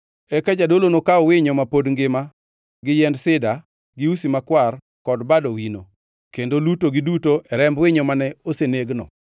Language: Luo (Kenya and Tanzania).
Eka jadolo nokaw winyo ma pod ngima gi yiend sida, gi usi makwar kod bad owino, kendo lutogi duto e remb winyo mane osenegno.